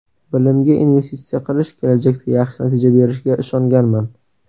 Bilimga investitsiya qilish kelajakda yaxshi natija berishiga ishonganman.